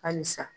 Halisa